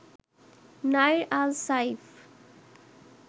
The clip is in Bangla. নাইর আল সাইফ